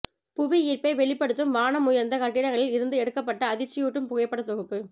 புவி ஈர்ப்பை வெளிப்படுத்தும் வானம் உயர்ந்த கட்டிடங்களில் இருந்து எடுக்கப்பட்ட அதிர்ச்சியூட்டும் புகைப்படத்தொகுப்பு